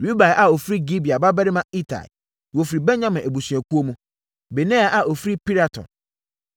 Ribai a ɔfiri Gibea babarima Itai (wɔfiri Benyamin abusuakuo mu); Benaia a ɔfiri Piraton;